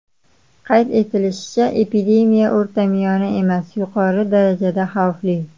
Qayd etilishicha, epidemiya o‘rtamiyona emas, yuqori darajada xavfli.